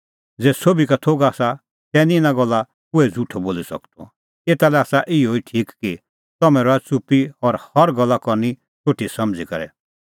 ज़ै सोभी का थोघ आसा तै निं इना गल्ला कोहै झ़ुठअ बोली सकदअ एता लै आसा इहअ ई ठीक कि तम्हैं रहा च़ुप्पी और हर गल्ला करनी सोठी समझ़ी करै